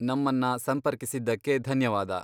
ನಮ್ಮನ್ನ ಸಂಪರ್ಕಿಸಿದ್ದಕ್ಕೆ ಧನ್ಯವಾದ.